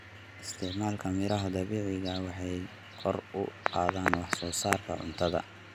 Isticmaalka miraha dabiiciga ah waxay kor u qaadaan wax soo saarka cuntada.